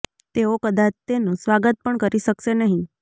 તેઓ કદાચ તેનું સ્વાગત પણ કરી શકશે નહીં